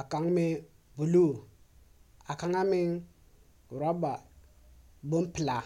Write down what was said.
a kaŋ meŋ buluu. A kaŋa meŋ rɔba bompelaa.